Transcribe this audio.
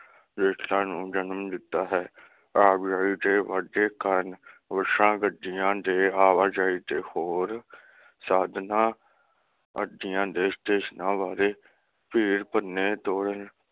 ਨੂੰ ਜਨਮ ਦਿੱਤਾ ਹੈ। ਆਵਾਜਾਈ ਦੇ ਵਧਦੇ ਕਾਰਨ ਬੱਸਾਂ, ਗੱਡੀਆਂ ਦੇ ਆਵਾਜਾਈ ਦੇ ਹੋਰ ਸਾਧਨਾ ਅੱਡਿਆਂ ਤੇ ਸਟੇਸ਼ਨਾਂ ਬਾਰੇ ਭੀੜ ਭੰਨੇ ਤੋਰਨ